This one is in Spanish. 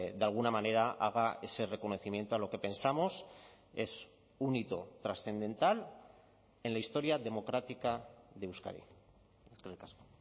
de alguna manera haga ese reconocimiento a lo que pensamos es un hito trascendental en la historia democrática de euskadi eskerrik asko